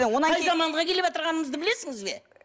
қай заманға келіватырғаныңызды білесіңіз бе